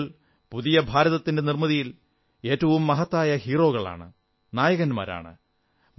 കുട്ടികൾ പുതിയ ഭാരതത്തിന്റെ നിർമ്മിതിയിൽ ഏറ്റവും മഹത്തായ ഹീറോകളാണ് നായകരാണ്